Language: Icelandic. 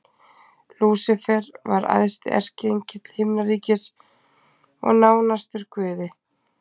Lúsífer var æðsti erkiengill himnaríkis og nánastur Guði.